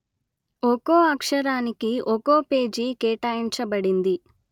ఒకో అక్షరానికి ఒకో పేజీ కేటాయించబడింది